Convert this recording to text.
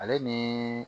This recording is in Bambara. Ale ni